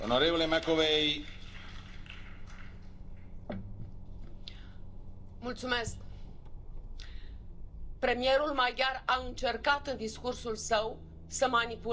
Domnule președinte, premierul maghiar a încercat în discursul său să manipuleze națiunea maghiară. Noi nu luăm măsuri împotriva națiunii maghiare.